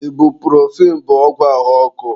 Ebupurofen bụ ọgwụ ahụ ọkụ.